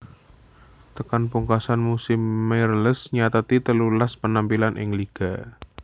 Tekan pungkasam musim Meireles nyatet telulas penampilan ing liga